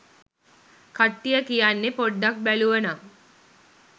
කට්ටිය කියන්නෙ පොඩ්ඩක් බැලුවනම්